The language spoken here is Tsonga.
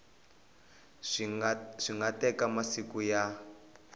swi nga teka masiku ya